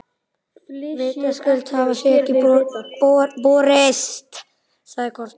Vitaskuld hafa þau ekki borist, sagði Kort.